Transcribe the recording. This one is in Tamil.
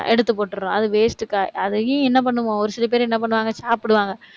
எடுத்து போட்டிடுறோம். அது waste அதையும் என்ன பண்ணுவோம் ஒரு சில பேரு, என்ன பண்ணுவாங்க சாப்பிடுவாங்க